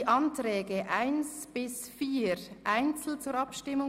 Die Anträge 1 bis 4 bringe ich einzeln zur Abstimmung.